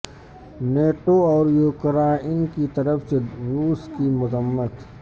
NATO اور Ukraine کی طرف سے روس کی مذمت